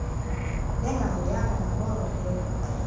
bengahoyanga nabahoyileyo beqonda